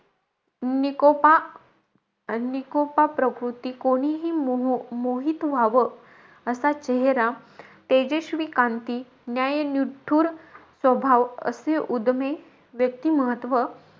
निकोपा निकोपा प्रकृति. कोणीही मोहित व्हावं, असा चेहरा, तेजस्वी कांती, न्यायनिठूर स्वभाव असे उद्यमे व्यक्तिमहत्व,